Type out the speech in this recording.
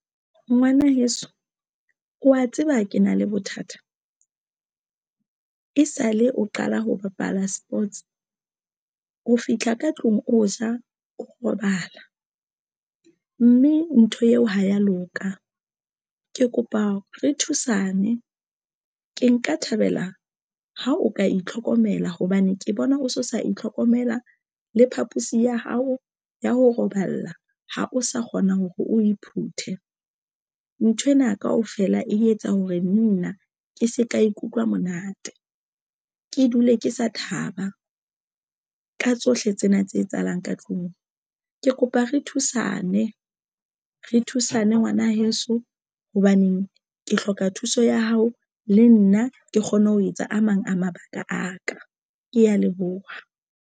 Ngwana heso wa tseba ke na le bothata e sale o qala ho bapala sports o fitlha ka tlung, o ja o robala, mme ntho eo ha ya loka ke kopa re thusane ke nka thabela ha o ka itlhokomela hobane ke bona o so sa itlhokomela le phapusi ya hao ya ho robala ha o sa kgona hore o e phuthe nthwena kaofela, e etsa hore nna ke se ka ikutlwa monate. Ke dule ke sa thaba ka tsohle tsena tse etsahalang ka tlung, ke kopa re thusane re thusane ngwana heso. Hobaneng ke hloka thuso ya hao. Le nna ke kgone ho etsa a mang a mabaka a ka. Ke ya leboha.